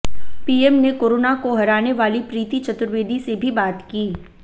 PM ने corona को हराने वाली प्रीति चतुर्वेदी से भी बात की